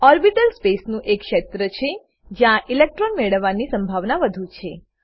orbital સ્પેસનું એ શેત્ર છે જ્યાં ઇલેક્ટ્રોન મેળવવા ની સંભાવના વધુ છે